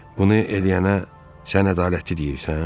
Bunu eləyənə sən ədalətli deyirsən?